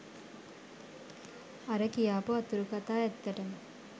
අර කියාපු අතුරු කථා ඇත්තටම